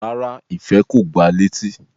Rárá, Ife ko gbá a leti